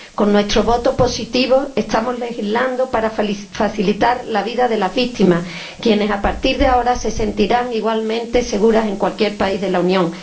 2011. Con nuestro voto positivo estamos legislando para facilitar la vida de las víctimas, quienes a partir de ahora se sentirán igualmente seguras en cualquier país de la Unión.